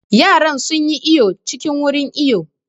Yaran sun yi iwo cikin wurin iwo